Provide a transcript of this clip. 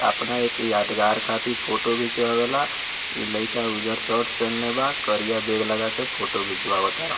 आपना एक यादगार खातिर फोटो खींचवाले इ लइका उजर शर्ट पहनले बा करिया बैग लगा के फोटो खिंचवा तारा --